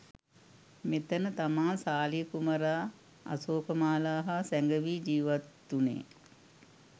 මෙතැන තමා සාලිය කුමරා අශෝකමාලා හා සැඟැවී ජීවත්වුණේ.